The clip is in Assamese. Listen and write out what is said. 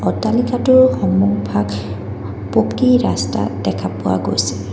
অট্টালিকাটোৰ সন্মুখভাগ পকী ৰাস্তাত দেখা পোৱা গৈছে।